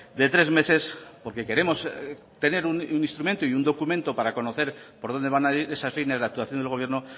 de tres meses porque queremos tener un instrumento y un documento para conocer por dónde van a ir esas líneas de actuación del gobierno